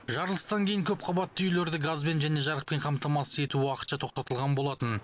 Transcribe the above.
жарылыстан кейін көпқабатты үйлерді газбен және жарықпен қамтамасыз ету уақытша тоқтатылған болатын